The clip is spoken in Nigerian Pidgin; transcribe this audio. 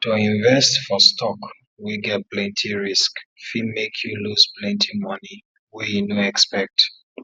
to invest for stock wey get plenty risk fit make you lose plenty money wey you no expect